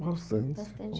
Bastante. Bastante